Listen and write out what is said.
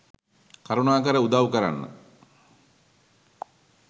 කරුණාකර උදවු කරන්න.